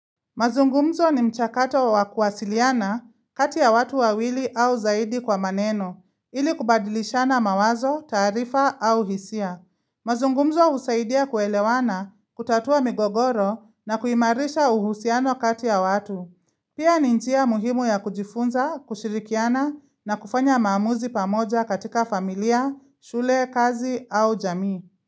Mazungumzo ni mchakato wa kuwasiliana kati ya watu wawili au zaidi kwa maneno, ili kubadilishana mawazo, taarifa au hisia. Mazungumzo husaidia kuelewana, kutatua migogoro na kuimarisha uhusiano kati ya watu. Pia ni njia muhimu ya kujifunza, kushirikiana na kufanya maamuzi pamoja katika familia, shule, kazi au jamii.